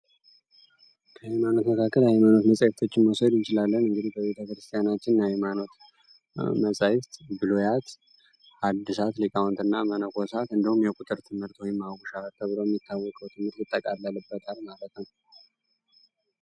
በዓለም ዙሪያ የተለያዩ ሃይማኖቶች ያሉ ሲሆን እያንዳንዳቸው የራሳቸው የሆነ ትምህርትና ባህል አላቸው።